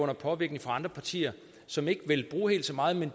er påvirkning fra andre partier som ikke vil bruge helt så meget men